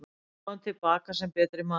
Ég kom til baka sem betri maður.